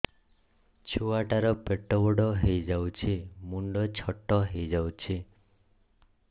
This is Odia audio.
ଛୁଆ ଟା ର ପେଟ ବଡ ହେଇଯାଉଛି ମୁଣ୍ଡ ଛୋଟ ହେଇଯାଉଛି